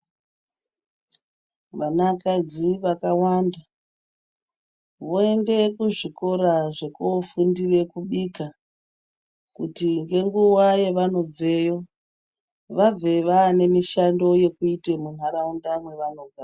Vanakadzi vakawanda voende kuzvikora zvekofundira kubika kuti ngenguwa yavanobveyo vabve vane mishando yevanoita muntaraunda yevanogara.